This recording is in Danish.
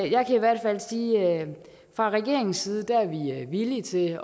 jeg kan i hvert fald sige at vi fra regeringens side er villige til